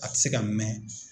A tɛ se ka mɛn